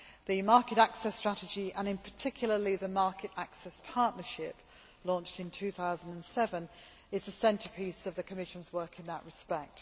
The Market Access Strategy, and particularly the Market Access Partnership launched in 2007, is the centrepiece of the Commission's work in that respect.